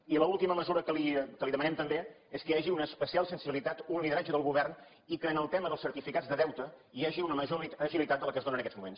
i l’última mesura que li demanem també és que hi hagi una especial sensibilitat un lideratge del govern i que en el tema dels certificats de deute hi hagi una major agilitat de la que es dóna en aquests moments